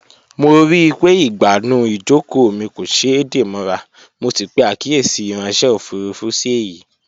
Mo ríi pé ìgbànú ìjókòó mi kò ṣeé dè mọ́ra, mo sì pè àkíyèsí ìráńṣẹ́ òfurufú sí èyìí